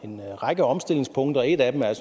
en række omstillingspunkter et af dem er